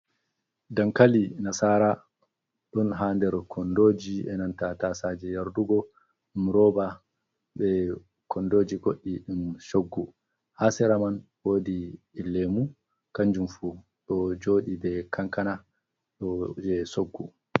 Dankali nasara ɗon ha nder kondoji enanta tasaje yardugo ɗum roba ɓe kondoji godɗi ɗi Shoggu fu ha Sera man ɗon wodi lemu kanjumfu ɗo joɗi be Kankana ɗo je Shoggu.